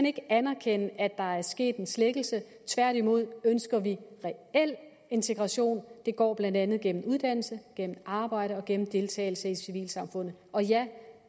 ikke anerkende at der er sket en slækkelse tværtimod ønsker vi en reel integration det går blandt andet gennem uddannelse gennem arbejde og gennem deltagelse i civilsamfundet og ja det